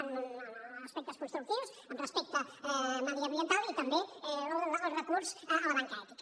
en aspectes constructius amb respecte mediambiental i també el recurs a la banca ètica